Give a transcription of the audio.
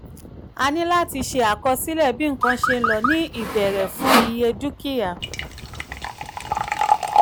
a ní láti ṣe àkọsílẹ̀ bí nǹkan ṣe ń lọ ní ìbẹ̀rẹ̀ fún iye dúkìá.